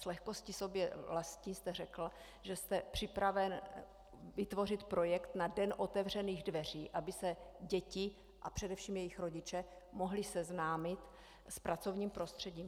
S lehkostí sobě vlastní jste řekl, že jste připraven vytvořit projekt na den otevřených dveří, aby se děti a především jejich rodiče mohli seznámit s pracovním prostředím.